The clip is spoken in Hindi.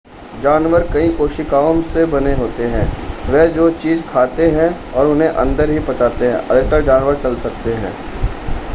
जानवर कई कोशिकाओं से बने होते हैं वे जो चीज़ें खाते हैं और उन्हें अंदर ही पचाते हैं अधिकतर जानवर चल सकते हैं